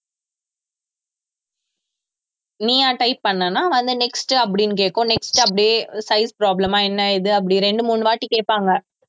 நீயா type பண்ணேன்னா அது next அப்படின்னு கேக்கும் next அப்படியே size problem ஆ என்ன ஏது அப்படி ரெண்டு மூணுவாட்டி கேப்பாங்க